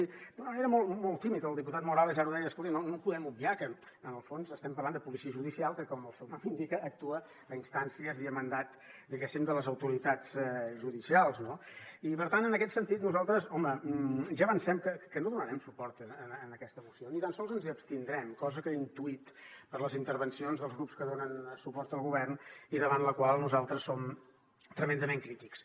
i d’una manera molt tímida el diputat morales ara ho deia escoltin no podem obviar que en el fons estem parlant de policia judicial que com el seu nom indica actua a instàncies i a mandat diguéssim de les autoritats judicials no i per tant en aquest sentit nosaltres home ja avancem que no donarem suport a aquesta moció ni tan sols ens hi abstindrem cosa que he intuït per les intervencions dels grups que donen suport al govern i davant la qual nosaltres som tremendament crítics